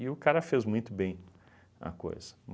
E o cara fez muito bem a coisa.